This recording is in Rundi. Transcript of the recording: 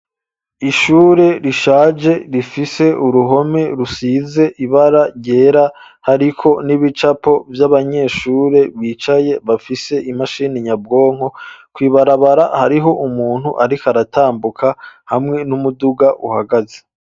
Ishure rishaje rifise uruhome rusize ibara ryera, hariko n'ibicapo vy'abanyeshure bicaye bafise imashini nyabwonko, kw'ibarabara hariho umuntu ariko aratambuka hamwe n'umuduga uhagaze.